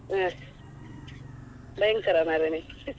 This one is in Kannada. ಭಯಂಕರ ಮರ್ರೆ ನೀವು.